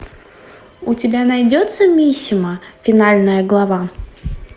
у тебя найдется мисима финальная глава